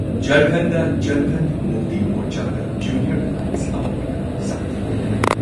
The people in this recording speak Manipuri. ꯓꯔꯈꯟꯗ ꯓꯔꯈꯟ ꯃꯨꯛꯇꯤ ꯃꯣꯔꯆꯒ ꯖꯨꯅꯤꯌꯔ ꯑꯦꯂꯥꯏꯟꯁ ꯑꯃ ꯑꯣꯏꯅ ꯁꯛꯇꯤ ꯌꯦꯟꯅꯔꯝꯃꯤ꯫